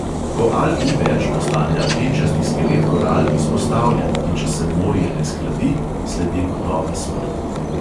Ko alg ni več, postane apnenčasti skelet koral izpostavljen, in če se morje ne shladi, sledi gotova smrt.